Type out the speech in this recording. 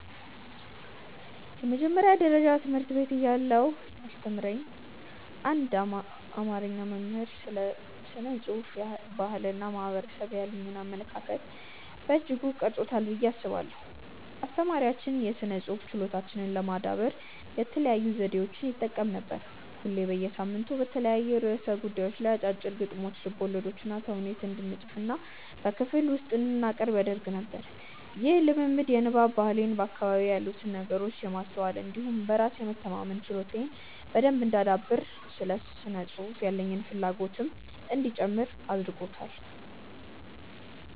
የመጀመሪያ ደረጃ ትምህርት ቤት እያለሁ ያስተማረኝ አንድ አማርኛ መምህር ስለ ስነ ጽሁፍ፣ ባህል እና ማህበረሰብ ያሉኝን አመለካከት በእጅጉ ቀርጾታል ብዬ አስባለሁ። አስተማሪያችን የስነ ጽሁፍ ችሎታችንን ለማዳበር የተለያዩ ዘዴዎችን ይጠቀም ነበር። ሁሌ በየሳምንቱ በተለያዩ ርዕሰ ጉዳዮች ላይ አጫጭር ግጥሞችን፣ ልቦለዶችንና ተውኔት እንድንፅፍና በክፍል ውስጥ እንድናቀርብ ያደርግ ነበር። ይህ ልምምድ የንባብ ባህሌን፣ በአካባቢዬ ያሉትን ነገሮች የማስተዋል እንዲሁም በራስ የመተማመን ችሎታዬን በደንብ እንዳዳብር እና ለስነ ጽሁፍ ያለኝን ፍላጎትም እንዲጨምር አድርጓል።